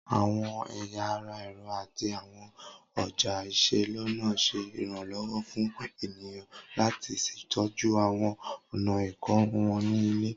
Awọn ẹya ara ẹrọ ati awọn ọja iselona ṣe iranlọwọ fun eniyan lati ṣetọju awọn ọna ikorun wọn ni ile